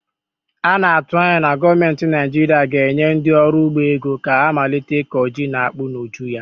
A na-atụ anya na gọọmentị Naijiiria ga-enye ndị ọrụ ugbo ego ka ha malite ịkọ ji na akpụ n'ụjụ ya.